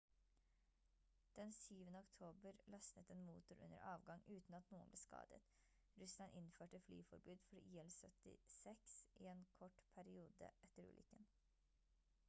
den syvende oktober løsnet en motor under avgang uten at noen ble skadet russland innførte flyforbud for il-76s i en kort periode etter ulykken